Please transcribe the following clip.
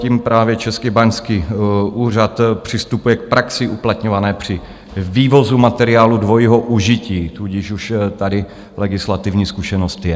Tím právě Český báňský úřad přistupuje k praxi uplatňované při vývozu materiálů dvojího užití, tudíž už tady legislativní zkušenost je.